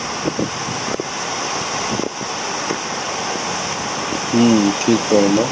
ହୁଁ ଠିକ କହିଲ